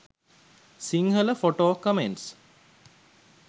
sinhala photo comments